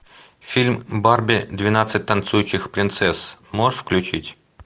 фильм барби двенадцать танцующих принцесс можешь включить